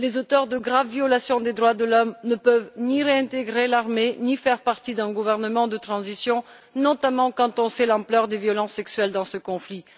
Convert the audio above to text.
Les auteurs de graves violations des droits de l'homme ne doivent pouvoir ni réintégrer l'armée ni faire partie d'un gouvernement de transition, notamment quand on sait l'ampleur des violences sexuelles dans ce conflit.